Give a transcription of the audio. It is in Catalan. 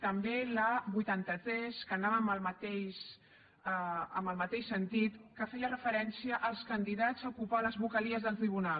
també la vuitanta tres que anava en el mateix sentit que feia referència als candidats a ocupar les vocalies del tribunal